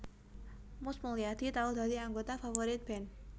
Mus Mulyadi tau dadi anggota Favourite Band